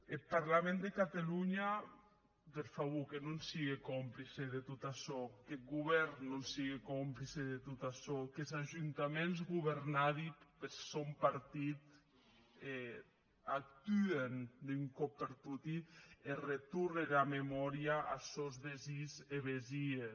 eth parlament de catalonha per favor que non sigue complice de tot açò qu’eth govèrn non sigue complice de tot açò qu’es ajuntaments governadi per sòn partit actuen d’un còp per toti e retornen era memòria a sòns vesins e vesies